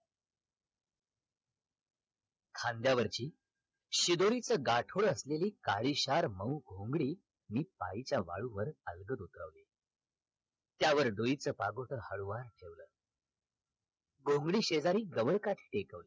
खांद्यावरची शिदोरीच गाठोडं असलेली काळीशार मऊ घोंगडी मी पायीच्या वाळूवर अलगद उतरवली त्यावर डोईचा पापोद हळुवार ठेवल घोंगडी सेजारी गवळ काठी टेकवली